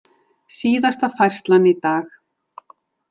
Síðasta færslan í dag.